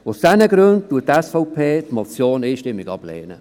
Aus diesen Gründen lehnt die SVP diese Motion einstimmig ab.